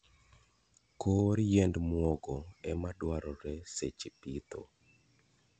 kor yiend mwogo ema dwarore seche pitho.